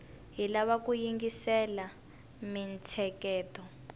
hi lava ku yingisela mintsheketo